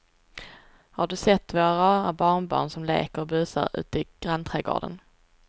Har du sett våra rara barnbarn som leker och busar ute i grannträdgården!